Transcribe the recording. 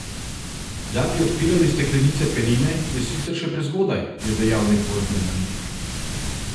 Da bi odpirali steklenice penine, je sicer še prezgodaj, je dejal nek borzni analitik.